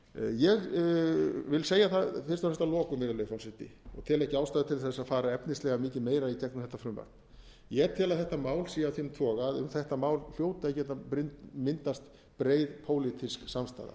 ég vil segja það fyrst og fremst að lokum virðulegi forseti tel ekki ástæðu til þess að fara efnislega mikið meira í gegnum þetta frumvarp ég tel að þetta mál sé af þeim toga að um þetta mál hljóti að geta myndast breið pólitísk samstaða